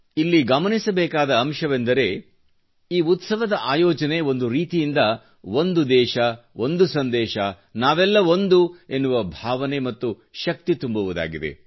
ಇಲ್ಲಿ ಗಮನಿಸಬೇಕಾದ ಅಂಶವೆಂದರೆ ಈ ಉತ್ಸವದ ಆಯೋಜನೆ ಒಂದು ರೀತಿಯಿಂದ ಒಂದು ದೇಶಒಂದು ಸಂದೇಶ ನಾವೆಲ್ಲ ಒಂದು ಎನ್ನುವ ಭಾವನೆ ಮತ್ತು ಶಕ್ತಿ ತುಂಬುವುದಾಗಿದೆ